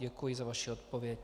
Děkuji za vaši odpověď.